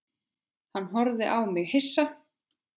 Hann horfði á mig hissa.